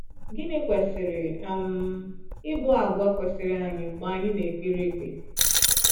Gịnị kwesịrị um ịbụ àgwà kwesịrị anyị mgbe anyị na-ekpere ekpe?